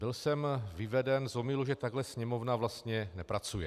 Byl jsem vyveden z omylu, že takhle Sněmovna vlastně nepracuje.